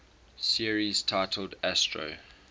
series titled astro